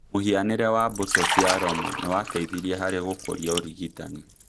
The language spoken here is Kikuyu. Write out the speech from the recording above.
mŨhianĩre wa mbũtũ cia Roma nĩ wateithirie harĩ gũkũria ũrigitani.